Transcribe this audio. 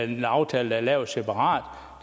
en aftale der er lavet separat